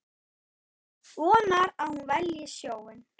Vonar að hún velji sjóinn.